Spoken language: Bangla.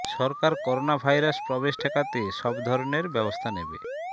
সরকার করোনা ভাইরাস প্রবেশ ঠেকাতে সব ধরনের ব্যবস্থা নেবে